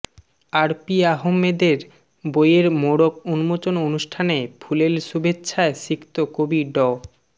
অরপি আহমেদের বইয়ের মোড়ক উন্মোচন অনুষ্ঠানে ফুলেল শুভেচ্ছায় সিক্ত কবি ড